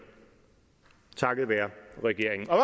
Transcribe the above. takket være regeringen og